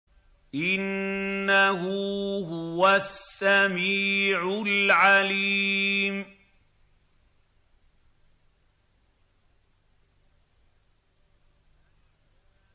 إِنَّهُ هُوَ السَّمِيعُ الْعَلِيمُ